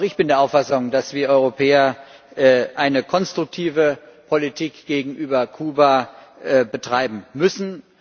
Auch ich bin der Auffassung, dass wir Europäer eine konstruktive Politik gegenüber Kuba betreiben müssen.